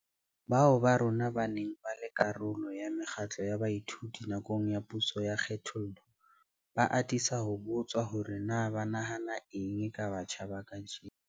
Bao ba rona ba neng ba le karolo ya mekgatlo ya baithuti nakong ya puso ya kgethollo, ba atisa ho botswa hore na ba nahana eng ka batjha ba kajeno.